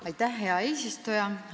Aitäh, hea eesistuja!